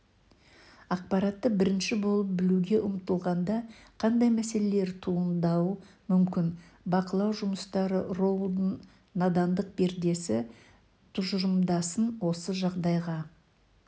ақпаратты бірінші болып білуге ұмтылғанда қандай мәселелер туындауы мүмкін бақылау жұмыстары роулдың надандық пердесі тұжырымдамасын осы жағдайға